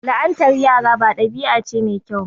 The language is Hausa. La'antar yara ba dabi'a ce mai kyau ba.